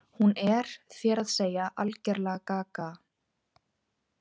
Hún er, þér að segja, algerlega gaga.